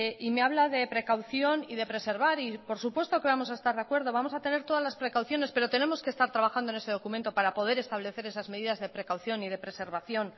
y me habla de precaución y de preservar y por supuesto que vamos a estar de acuerdo vamos a tener todas las precauciones pero tenemos que estar trabajando en ese documento para poder establecer esas medidas de precaución y de preservación